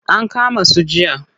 An kama su jiya.